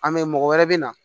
A mɛ mɔgɔ wɛrɛ bɛ na